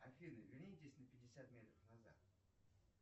афина вернитесь на пятьдесят метров назад